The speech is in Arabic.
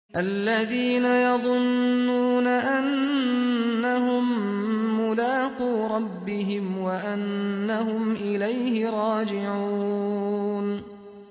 الَّذِينَ يَظُنُّونَ أَنَّهُم مُّلَاقُو رَبِّهِمْ وَأَنَّهُمْ إِلَيْهِ رَاجِعُونَ